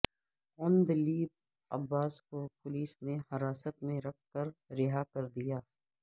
عندلیب عباس کو پولیس نے حراست میں رکھ کر رہاکردیا